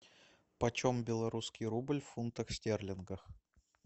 почем белорусский рубль в фунтах стерлингах